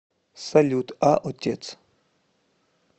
салют а отец